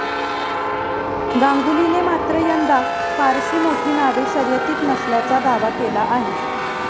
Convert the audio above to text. गांगुलीने मात्र यंदा फारशी मोठी नावे शर्यतीत नसल्याचा दावा केला आहे.